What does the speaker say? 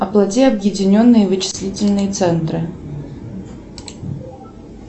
оплати объединенные вычислительные центры